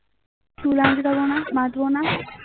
চুল আঁচড়াব না বাঁধবো না